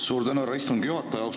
Suur tänu, härra istungi juhataja!